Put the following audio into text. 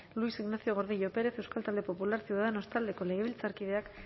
luis ignacio gordillo pérez euskal talde popularra ciudadanos taldeko legebiltzarkideak